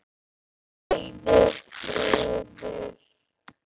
Rauður friður.